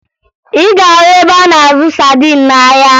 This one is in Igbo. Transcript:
Ị ga-ahụ ebe a na-azụ sadin n'ahịa